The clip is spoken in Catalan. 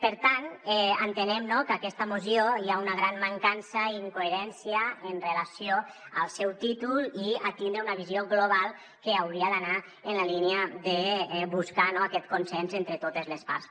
per tant entenem que en aquesta moció hi ha una gran mancança i incoherència amb relació al seu títol i a tindre una visió global que hauria d’anar en la línia de buscar aquest consens entre totes les parts